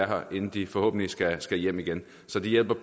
her inden de forhåbentlig skal skal hjem igen så det hjælper